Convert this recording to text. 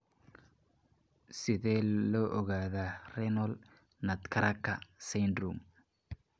Sidee loo ogaadaa Renal nutcracker syndrome?